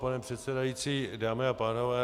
Pane předsedající, dámy a pánové.